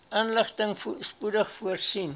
inligting spoedig voorsien